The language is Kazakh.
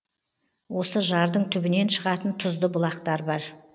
осы жардың түбінен шығатын тұзды бұлақтар бар